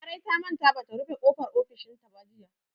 Larai ta manta ba ta rufe ƙofar ofishinta ba jiya.